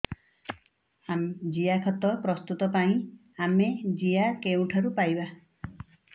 ଜିଆଖତ ପ୍ରସ୍ତୁତ ପାଇଁ ଆମେ ଜିଆ କେଉଁଠାରୁ ପାଈବା